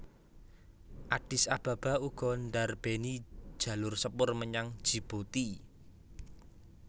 Addis Ababa uga ndarbèni jalur sepur menyang Djibouti